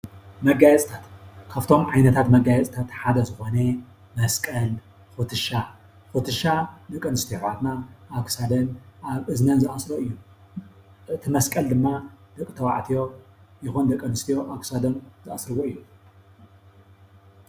መጋየፅታት፡- ካፍቶም ዓይነታት መጋየፂታት ሓደ ዝኾነ መስቀል፣ ኩትሻ ፡ ኩትሻ ደቂ ኣንስትዮ ኣሕዋትና ኣብ ክሳደን ኣብ እዝነን ዝኣስርኦ እዩ፡፡ እቲ መስቀል ድማ ደቂ ተባዕትዮ ይኹን ደቂ ኣንስትዮ ኣብ ክሳዶም ዝኣስርዎ እዩ፡፡